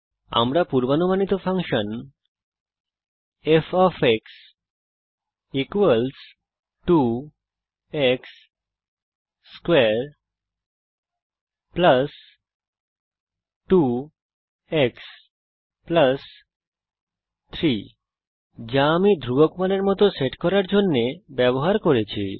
আমরা পুর্বানুমানিত function f 2 x2 2 x 3 কে ইনপুট করতে পারি যা আমি ধ্রুবক মানের মত সেট করার জন্যে ব্যবহার করেছি